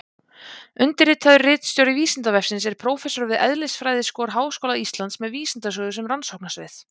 Undirritaður ritstjóri Vísindavefsins er prófessor við eðlisfræðiskor Háskóla Íslands með vísindasögu sem rannsóknasvið.